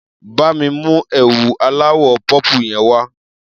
Bá mi mú ẹ̀wù aláwọ̀ pọ́pù yẹn wá.